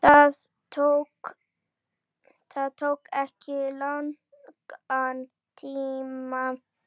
Það tók ekki langan tíma.